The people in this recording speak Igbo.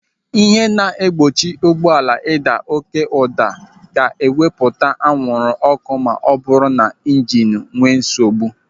Ihe na-egbochi ụgbọala ịda oké ụda ga-ewepụta anwụrụ ọ́kụ́ ma ọbụrụ na ịjinu enwe nsogbu.